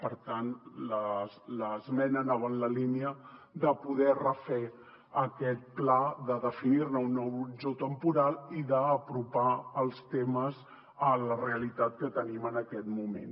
per tant l’esmena anava en la línia de poder refer aquest pla de definir ne un nou horitzó temporal i d’apropar els temes a la realitat que tenim en aquest moment